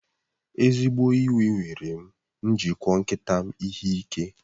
Ezigbo iwe mere m ji kụọ nkịta m ihe ike.